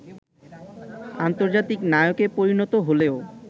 আন্তর্জাতিক নায়কে পরিণত হলেও